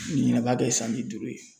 Ɲinɛ b'a kɛ san bi duuru ye